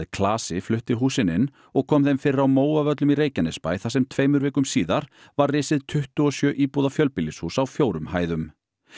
klasi flutti húsin inn og kom þeim fyrir á Móavöllum í Reykjanesbæ þar sem tveimur vikum síðar var risið tuttugu og sjö íbúða fjölbýlishús á fjórum hæðum